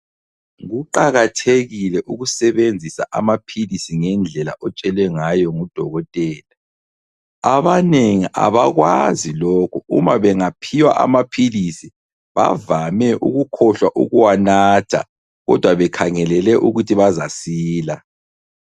Kuqakathekile ukusebenzisa amaphilisi ngendlela otshelwe ngayo ngudokotela , abanengi abakwazi lokhu uma bengaphiwa amaphilisi bavame ukukhohlwa ukuwanatha kodwa bekhangelele ukuthi bazasila